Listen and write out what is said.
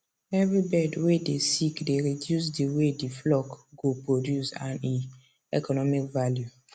every bird way dey sick dey reduce the way the flock go produce and e economic value